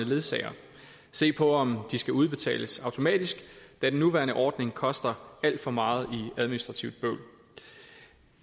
ledsager og se på om de skal udbetales automatisk da den nuværende ordning koster alt for meget i administrativt bøvl